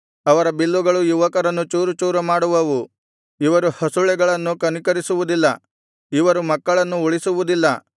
ಅವರ ಬಿಲ್ಲುಗಳು ಯುವಕರನ್ನು ಚೂರುಚೂರು ಮಾಡುವವು ಇವರು ಹಸುಳೆಗಳನ್ನು ಕನಿಕರಿಸುವುದಿಲ್ಲ ಇವರು ಮಕ್ಕಳನ್ನು ಉಳಿಸುವುದಿಲ್ಲ